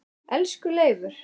Elsku Leifur.